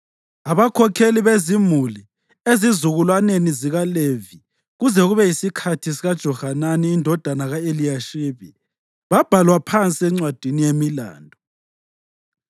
Abakhokheli bezimuli ezizukulwaneni zikaLevi kuze kube yisikhathi sikaJohanani indodana ka-Eliyashibi babhalwa phansi encwadini yemilando.